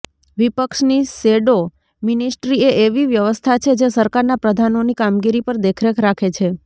વિપક્ષની shadow ministry એ એવી વ્યવસ્થા છે જે સરકારના પ્રધાનોની કામગીરી પર દેખરેખ રાખે છે